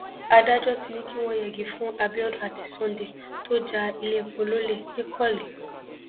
adájọ ti ní kí wọn yẹgi fún abiodun àti sunday tó ja iléepo lọlẹ nìkọlé